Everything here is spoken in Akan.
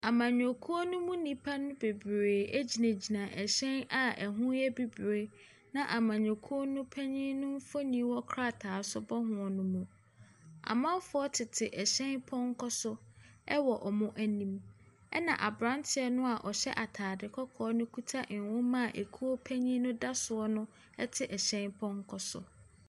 Amanyɔkuo no mu nnipa bebree gyingyina ɛhyɛn a ɛho yɛ bibire na amanyɔkuo no panyin mfoni wɔ krataa so bɔ nneɛma no ho. Amanfoɔ tete ɛhyɛn pɔnkɔ so wɔ wɔn anim. Ɛna abranteɛ no a ɔhyɛ ataade kɔkɔɔ no kita nwoma a ekuo no panin da so wɔ no ɛte ɛhyɛn pɔnkɔ so.